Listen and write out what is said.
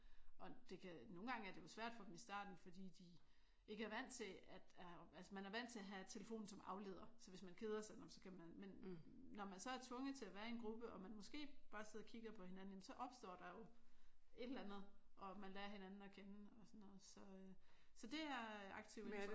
Og det kan nogle gange er det jo svært for dem i starten fordi de ikke er vant til at altså man er vant til at have telefonen som afleder. Så hvis man keder sig så kan man. Men når man så er tvunget til at være i en gruppe og måske bare sidder og kigger på hinanden så opstår der jo et eller andet og man lærer hinanden at kende og sådan noget. Så det er jeg aktiv indenfor